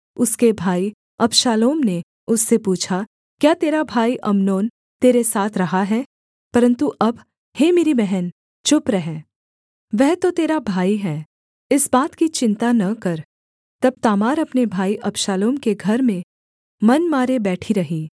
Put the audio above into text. उसके भाई अबशालोम ने उससे पूछा क्या तेरा भाई अम्नोन तेरे साथ रहा है परन्तु अब हे मेरी बहन चुप रह वह तो तेरा भाई है इस बात की चिन्ता न कर तब तामार अपने भाई अबशालोम के घर में मन मारे बैठी रही